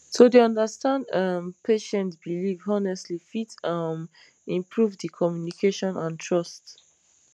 to dey understand um patient belief honestly fit um improve d communication and trust